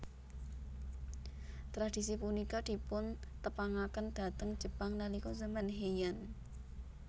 Tradisi punika dipuntepangaken dhateng Jepang nalika zaman Heian